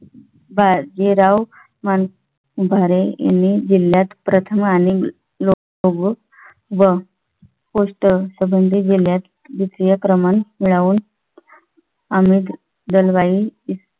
बाजीराव मांढरे यांनी जिल्ह्यात प्रथम आणि लोक प्रमुख व पूर्ण संबंधित जिल्ह्यात द्वितीय क्रमांक मिळवून अमित दलवाई